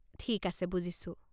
ঠিক আছে বুজিছো।